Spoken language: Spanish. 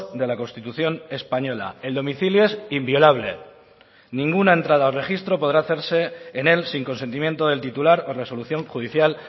de la constitución española el domicilio es inviolable ninguna entrada o registro podrá hacerse en él sin consentimiento del titular o resolución judicial